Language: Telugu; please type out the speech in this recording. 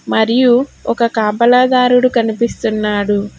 మరియు ఒక కాపలాదారుడు కనిపిస్తున్నాడు.